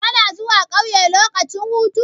Kana zuwa ƙauye lokacin hutu?